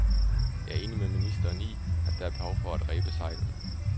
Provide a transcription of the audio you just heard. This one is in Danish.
Jeg er enig med ministeren i, at der er behov for at rebe sejlene.